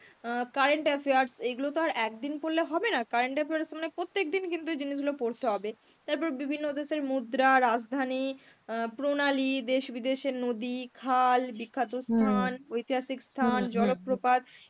current affairs, এইগুলো তো আর একদিন পড়লে হবে না, current affairs মানে প্রত্যেকদিন কিন্তু জিনিসগুলো পড়তে হবে. তারপর বিভিন্ন দেশের মুদ্রা, রাজধানী, অ্যাঁ প্রণালী, দেশ বিদেশের নদী, খাল, বিখ্যাত স্থান, ঐতিহাসিক স্থান জলপ্রপাত